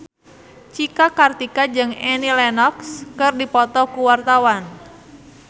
Cika Kartika jeung Annie Lenox keur dipoto ku wartawan